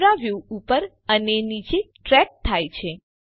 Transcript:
camera view ઉપર અને નીચે ટ્રેક થાય છે